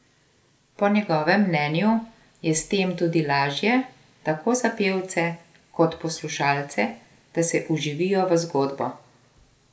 Po njegovem mnenju je s tem tudi lažje, tako za pevce kot poslušalce, da se vživijo v zgodbo.